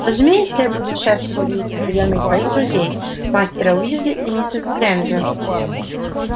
разумеется я буду счастлив видеть на приёме и твоих друзей мастера уизли и миссис грэйнджер